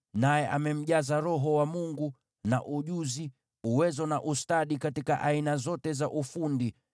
naye amemjaza Roho wa Mungu, pamoja na ustadi, na uwezo na ujuzi katika aina zote za ufundi,